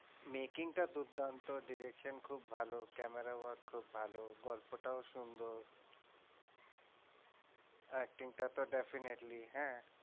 Making টা দুর্দান্ত direction খুব ভালো camera work খুব ভালো গল্পটাও সুন্দর। acting টা তো definitely হ্যাঁ